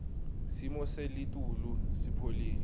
simo selitulu sipholile